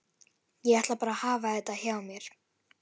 Ég ætla bara að hafa þetta hjá mér.